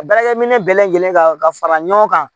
A baarakɛminɛn bɛɛ lajɛlen kan ka fara ɲɔgɔn kan